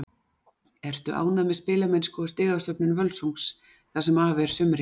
Ertu ánægð með spilamennsku og stigasöfnun Völsungs það sem af er sumri?